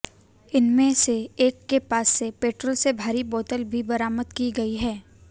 इनमे से एक के पास से पेट्रोल से भरी बोतल भी बरामद की गई है